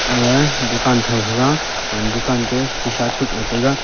aga dukan tho thega dukan sisa chukle tega.